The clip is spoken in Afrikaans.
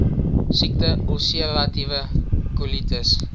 siekte ulseratiewe kolitis